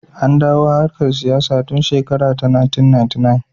An dawo harkar siyasa tun shekara ta 1999.